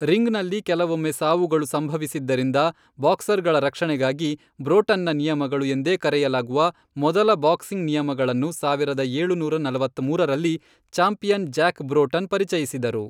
ರಿಂಗ್ನಲ್ಲಿ ಕೆಲವೊಮ್ಮೆ ಸಾವುಗಳು ಸಂಭವಿಸಿದ್ದರಿಂದ, ಬಾಕ್ಸರ್ಗಳ ರಕ್ಷಣೆಗಾಗಿ ಬ್ರೋಟನ್ನ ನಿಯಮಗಳು ಎಂದೇ ಕರೆಯಲಾಗುವ ಮೊದಲ ಬಾಕ್ಸಿಂಗ್ ನಿಯಮಗಳನ್ನು ಸಾವಿರದ ಏಳುನೂರ ನಲವತ್ಮೂರರಲ್ಲಿ, ಚಾಂಪಿಯನ್ ಜ್ಯಾಕ್ ಬ್ರೋಟನ್ ಪರಿಚಯಿಸಿದರು.